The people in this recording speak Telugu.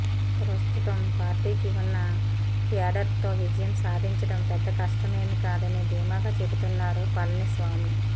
ప్రస్తుతం పార్టీకి ఉన్న క్యాడర్తో విజయం సాధించడం పెద్ద కష్టమేమీ కాదని ధీమాగా చెబుతున్నారు పళనిస్వామి